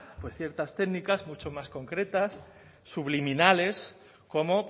pues ciertas técnicas mucho más concretas subliminales como